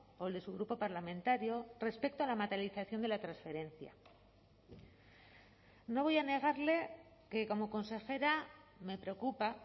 o el de su grupo parlamentario respecto a la materialización de la transferencia no voy a negarle que como consejera me preocupa